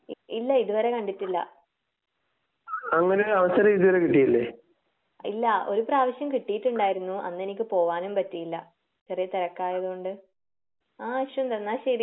ഇല്ല ഇതുവരെ കണ്ടിട്ടില്ല.ഇല്ല ഒരുപ്രാവശ്യം കിട്ടിയിട്ടുണ്ടായിരുന്നു. അന്ന് എനിക്ക് പോകാനും പറ്റിയില്ല. ചെറിയ തിരക്ക് ആയത് കൊണ്ട് ആഹ് അശ്വിവത് എന്നാ ശരി.